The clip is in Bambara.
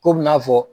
Ko bɛ n'a fɔ